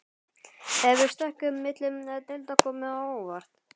Hefur stökkið milli deilda komið á óvart?